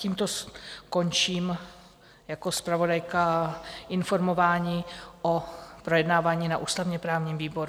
Tímto skončím jako zpravodajka informování o projednávání na ústavně-právním výboru.